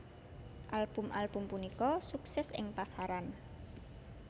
Album album punika sukses ing pasaran